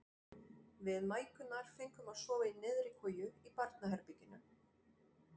Við mæðgurnar fengum að sofa í neðri koju í barnaherberginu.